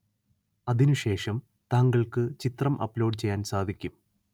അതിനുശേഷം താങ്കള്‍ക്ക് ചിത്രം അപ്‌ലോഡ് ചെയ്യാന്‍ സാധിക്കും